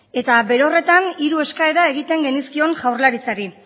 eta bere horretan hiru eskaera egiten genizkion jaurlaritzari